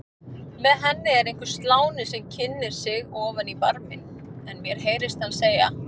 Með henni er einhver sláni sem kynnir sig ofan í barminn, mér heyrist hann segja